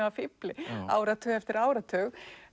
að fífli áratug eftir áratug